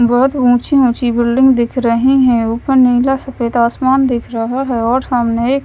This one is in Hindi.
बहोत ऊंची ऊंची बिल्डिंग दिख रही हैं ऊपर नीला सफेद आसमान देख रहा है और सामने एक--